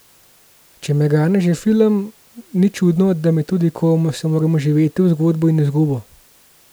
Če me gane že film, ni čudno, da me tudi, ko se moram vživeti v zgodbo in izgubo.